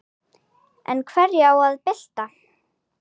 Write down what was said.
En hverju á að bylta?